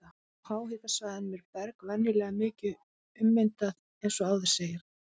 Á háhitasvæðunum er berg venjulega mikið ummyndað eins og áður segir.